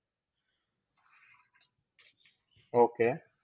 Okay